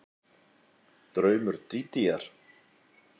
Draumur Dídíar